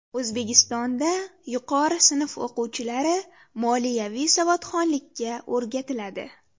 O‘zbekistonda yuqori sinf o‘quvchilari moliyaviy savodxonlikka o‘rgatiladi.